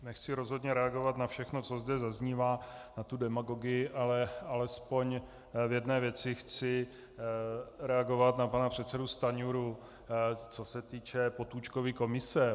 Nechci rozhodně reagovat na všechno, co zde zaznívá, na tu demagogii, ale alespoň v jedné věci chci reagovat na pana předsedu Stanjuru, co se týče Potůčkovy komise.